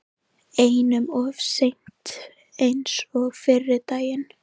Einum of seinn eins og fyrri daginn!